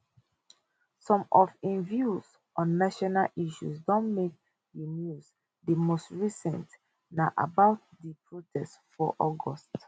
some of im views on national issues don make di news di most recent na about di protest for august